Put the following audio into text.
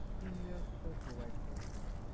fifteen years sir provide করি সেটা।